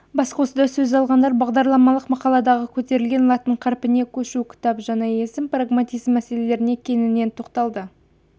басқосуда сөз алғандар бағдарламалық мақаладағы көтерілген латын қарпіне көшу кітап жаңа есім прагматизм мәселелеріне кеңінен тоқталды